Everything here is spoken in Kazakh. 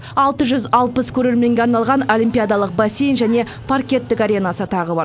алты жүз алпыс көрерменге арналған олимпиадалық бассейн және паркеттік аренасы тағы бар